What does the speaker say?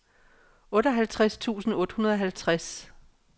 otteoghalvtreds tusind otte hundrede og halvtreds